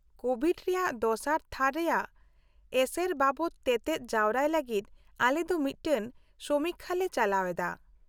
-Covid ᱨᱮᱭᱟᱜ ᱫᱚᱥᱟᱨ ᱛᱷᱟᱹᱨ ᱨᱮᱭᱟᱜ ᱮᱥᱮᱨ ᱵᱟᱵᱚᱛ ᱛᱮᱛᱮᱫ ᱡᱟᱣᱨᱟᱭ ᱞᱟᱹᱜᱤᱫ ᱟᱞᱮ ᱫᱚ ᱢᱤᱫᱴᱟᱝ ᱥᱚᱢᱤᱠᱠᱷᱟᱞᱮ ᱪᱟᱞᱟᱣᱮᱫᱟ ᱾